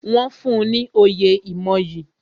Wọn fún ní oyè ìmoyì